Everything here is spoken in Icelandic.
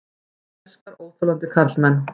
Hún elskar óþolandi karlmenn.